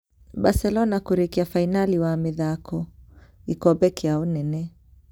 Barcelona kũrĩkia finali wa mĩthako gĩkombe kĩa ũnene